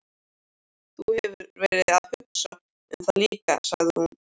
Þú hefur verið að hugsa um það líka, sagði hún.